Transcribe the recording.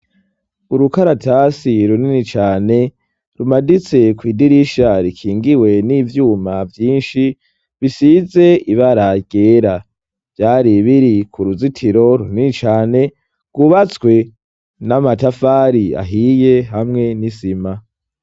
Urukaratasi runini cane rumaditse ku idirisha rikingiwe n'ivyuma vyinshi bisize ibararygera vyari biri ku ruzitiro runicane gubatswe n'amatafari ahiye hamwe n'isima.